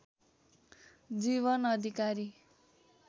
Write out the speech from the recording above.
जीवन अधिकारी